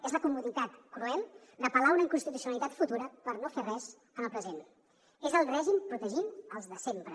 és la comoditat cruel d’apel·lar a una inconstitucionalitat futura per no fer res en el present és el règim protegint els de sempre